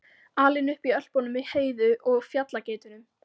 Alinn upp í Ölpunum með Heiðu og fjallageitunum?